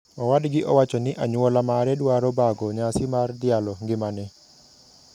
Owadgi owacho ni anyuola mare dwaro bago nyasi mar dhialo ngimane.